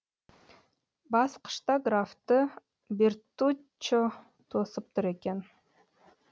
басқышта графты бертуччо тосып тұр екен